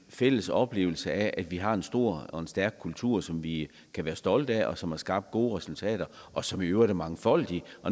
fælles oplevelse af at vi har en stor og stærk kultur som vi kan være stolte af som har skabt gode resultater og som i øvrigt er mangfoldig